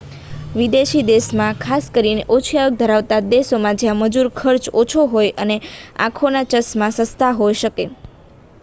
વિદેશી દેશમાં ખાસ કરીને ઓછી આવક ધરાવતા દેશોમાં જ્યાં મજૂર ખર્ચ ઓછો હોય છે આંખોના ચશ્મા સસ્તા હોઈ શકે